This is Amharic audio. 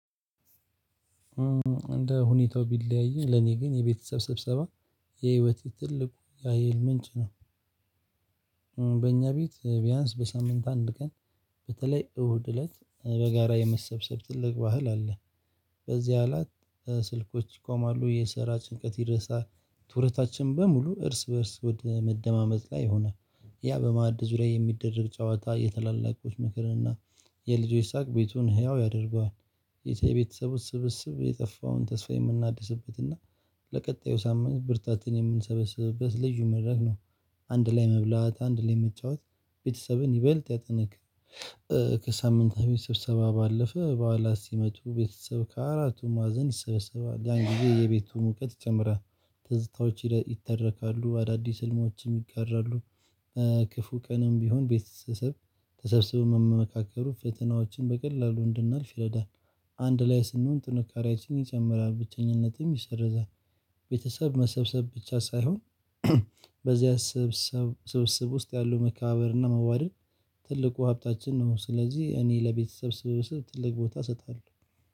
እንደ ሁኔታው ቢለያይም ለኔ ግን የቤተሰብ ስብሰባ የህይወት ትልቁ የሀይል ምንጭ ነው። በእኛ ቤት ቢያንስ በሳምንት አንድ ቀን በተለይ እሁድ እለት በጋራ የመሰብሰብ ትልቅ ባህል አለ። በዚህ አላት ስልኮች ይቆማሉ የሰራ ጭንቀት ይረሳል ትኩረታችን በሙሉ እርስ በእርስ ወደ መደማመጥ ላይ ሆነ። ያ በማዕድ ዙሪያ የሚደረግ ጨዋታ የታላልቆች ምክርንና የልጆች ሳቅ ቤቱን ህያው ያደርገዋል። የተየ ቤተሰቡ ስብስብ የጠፋውን ተስፋ የምናድስበት እና ለቀጣዩ ሳምንት ብርታትን የምንሰበስብበት ልዩ መድረክ ነው። አንድ ላይ መብላት አንድ ላይ መጫወት ቤተሰብን ይበልጥ ያጠናክራል። ከሳምንታት በፍት ስብሰባ ባለፈ በኋላ ሲመጡ ቤተሰብ ከአራቱም ማዕዘን ይስበሰባሉ ያን ጊዜ የቤቱ ሙቀት ይጨምል። ትዝታዎች ይተረካሉ አዳዲስ ህልሞችም ይጋራሉ። ክፉ ቀንም ቢሆን ቤተሰብ ተሰብስበው መመካከሩ ፈተናዎችን በቀላሉ እንድናልፍ ይረዳል። አንድ ላይ ስንሆን ጥንካሬያችንን ይጨምራል ብቸኝነትም ይሰርዛል። ቤተሰብ መሰብሰብ ብቻ ሳይሆን በዚህ ሰብስብ ውስጥ ያለው መካባበርና መዋደድን ትልቁ ሀብታችን ነው። ስለዚህ እኔ ለቤተሰብ ስብስብ ትልቅ ቦታ ሰጣለሁ።